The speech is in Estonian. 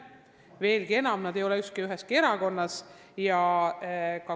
Veelgi enam, ükski neist ei ole üheski erakonnas.